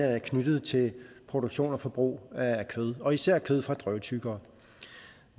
er knyttet til produktion og forbrug af kød og især kød fra drøvtyggere